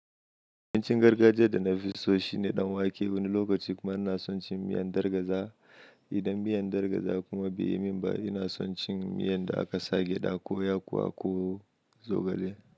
Abincin gargajiya da nafi so shine ɗan wake. Wani lokaci kuma ina son cin miyan gargajiya. Idan miyan gargajiya kuma bai yi min ba, ina son cin miyan da aka sa geɗa ko, yakuwa ko zogale.